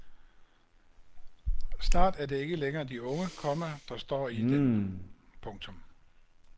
Snart er det ikke længere de unge, komma der står i den. punktum